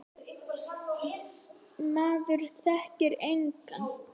Maður þekkti engan.